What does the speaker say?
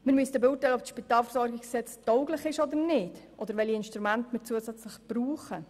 Wir müssen beurteilen, ob das SpVG tauglich ist oder nicht bzw. ob und welche zusätzlichen Instrumente wir brauchen.